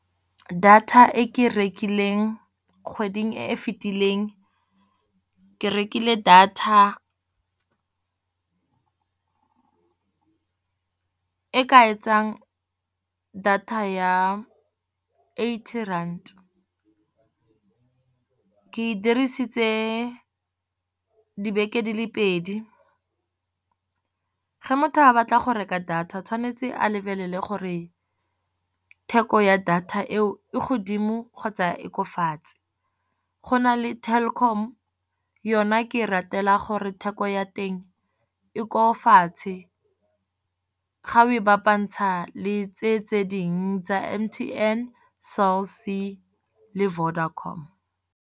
Data e ke e rekileng kgweding e e fetileng, ke rekile data e ka etsang data ya eighty rand. Ke e dirisitse dibeke di le pedi, ge motho a batla go reka data tshwanetse a lebelele gore, theko ya data eo ko godimo kgotsa e ko fatshe. Go na le Telkom yona ke e ratela gore theko ya teng e ko fatshe, ga o e bapantsha le tse, tse dingwe tsa M_T_N, Cell C le Vodacom.